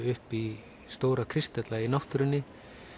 upp í stóra kristalla í náttúrunni